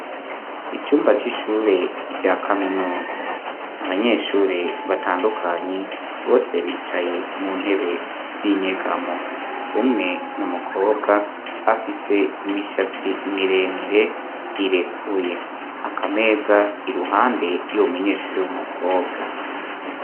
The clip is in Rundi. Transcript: Icumba c'ishure rya kaminuza, abanyeshure batandukanye bose bicaye mu ntebe z'inyegamo, umwe n'umukobwa afise imishatsi miremire irekuye, akameza iruhande y'uwo munyeshure w'umukobwa.